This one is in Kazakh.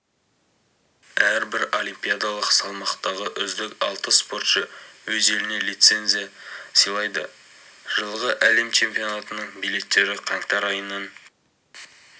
әрбір олимпиадалық салмақтағы үздік алты спортшы өз еліне лизенция сыйлайды жылғы әлем чемпионатының билеттері қаңтар айынан